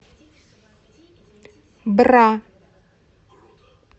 бра